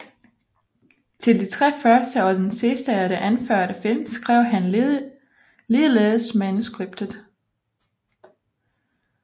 Til de tre første og den sidste af de anførte film skrev han ligeledes manuskriptet